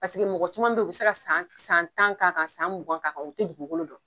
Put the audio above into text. Paseke mɔgɔ caman beyi o bi se ka san san tan k'a kan ka san mugan k'a kan u tɛ dugukolo dɔn.